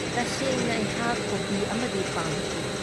ꯇꯥꯁꯦꯡꯅ ꯑꯩꯍꯥꯛ ꯀꯣꯄꯤ ꯑꯃꯗꯤ ꯄꯥꯝꯈꯤ ꯫